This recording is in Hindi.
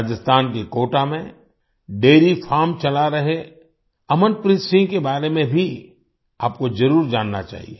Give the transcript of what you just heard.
राजस्थान के कोटा में डैरी फार्म चला रहे अमनप्रीत सिंह के बारे में भी आपको ज़रूर जानना चाहिए